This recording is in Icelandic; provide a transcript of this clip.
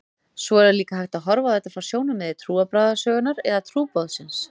Svo er líka hægt að horfa á þetta frá sjónarmiði trúarbragðasögunnar eða trúboðsins.